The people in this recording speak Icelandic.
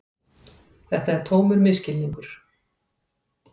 Þetta er tómur misskilningur.